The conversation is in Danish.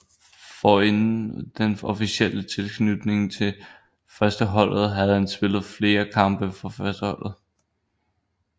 Forinden den officielle tilknytning til førsteholdet havde han spillet flere kampe for førsteholdet